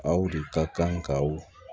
Aw de ka kan kaw